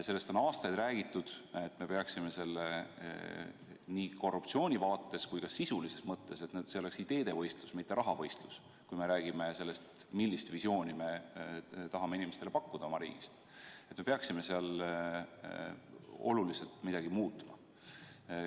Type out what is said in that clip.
Sellest on aastaid räägitud, et me peaksime nii korruptsioonivaates kui ka sisulises mõttes püüdma selle poole, et oleks ideede võistlus, mitte raha võistlus, kui me räägime sellest, millist visiooni oma riigist me püüame inimestele pakkuda, kui me tahame midagi olulist muuta.